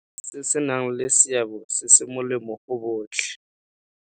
Se se nang le seabe se se molemo go botlhe.